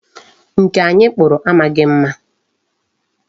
Nka anyi kpụrụ amaghị mma.